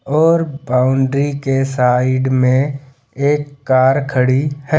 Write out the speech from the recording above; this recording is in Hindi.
और बाउंड्री के साइड में एक कार खड़ी है।